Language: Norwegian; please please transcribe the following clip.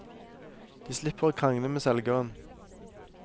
De slipper å krangle med selgeren.